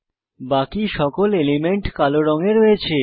বাকি সকল এলিমেন্ট কালো রঙে রয়েছে